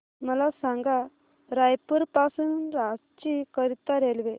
मला सांगा रायपुर पासून रांची करीता रेल्वे